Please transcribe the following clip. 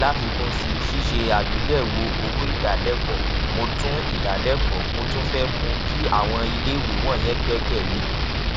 láfikún sí ṣíṣe àgbéyèwò owó ìdálékòó mo tún ìdálékòó mo tún fé mú kí àwọn iléèwé wònyẹn gbékè lé